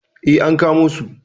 Eh, an kamo su.